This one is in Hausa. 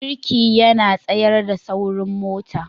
Birki yana tsayar da saurin mota.